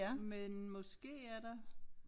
Men måske er der